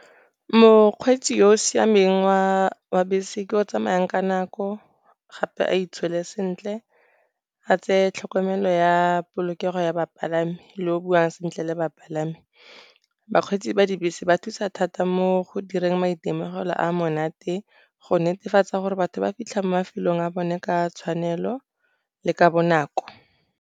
Mokgweetsi yo o siameng wa bese ke yo o tsamayang ka nako, gape a itshole sentle, a tseye tlhokomelo ya polokego ya bapalami, le yo o buang sentle le ba bapalami. Bakgweetsi ba dibese ba thusa thata mo go direng maitemogelo a monate, go netefatsa gore batho ba fitlha mafelong a bone ka tshwanelo le ka bonako.